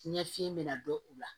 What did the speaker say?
Ɲɛ fiɲɛ bɛna dɔn u la